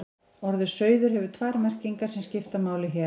Orðið sauður hefur tvær merkingar sem skipta máli hér.